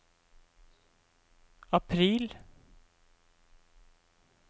april